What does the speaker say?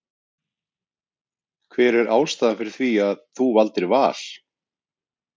Hver er ástæðan fyrir því að þú valdir Val?